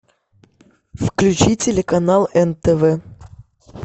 включи телеканал нтв